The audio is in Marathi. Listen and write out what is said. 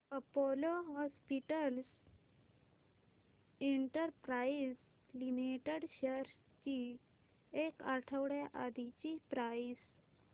Apollo hospitals enterprise limited shares ची एक आठवड्या आधीची प्राइस